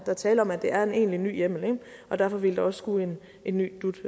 er tale om at det er en egentlig ny hjemmel og derfor ville der også skulle en ny dut